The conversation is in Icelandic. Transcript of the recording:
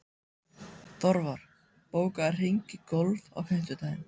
Þorvar, bókaðu hring í golf á fimmtudaginn.